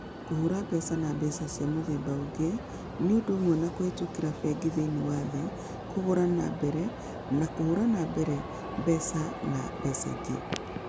Kũhũra mbeca na mbeca cia mũthemba ũngĩ nĩ ũndũ ũmwe na kũhĩtũkĩra bengi thĩinĩ wa thĩ, kũgũra na mbere, na kũhũra na mbere mbeca na mbeca ingĩ.